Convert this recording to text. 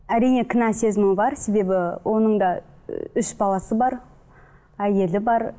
әрине кінә сезімі бар себебі оның да і үш баласы бар әйелі бар